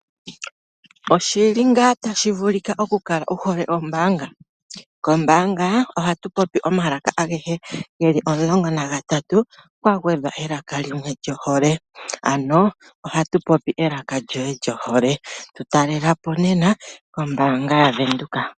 Oshili ngaa tashi vulika oku kala wu hole ombaanga? Kombaanga ohatu popi omalaka agehe ge li omulongo nagatatu kwagwedhwa elaka limwe lyohole. Ano ohatu popi elaka lyoye lyohole. Tu talela po nena kombaanga yaVenduka.